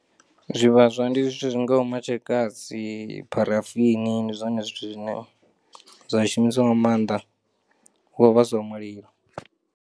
Zwivhaswa ndi zwithu zwi ngaho matshekasi, pharafini ndi zwone zwithu zwine zwa shumiswa nga maanḓa hu kho vhaswa mulilo.